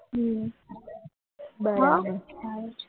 હમ બરાબર સારું છે